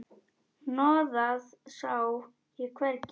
Hnoðað sá ég hvergi.